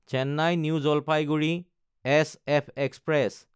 Chennai New Jalpaiguri SF express